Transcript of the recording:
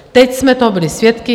Teď jsme toho byli svědky.